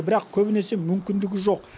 бірақ көбінесе мүмкіндігі жоқ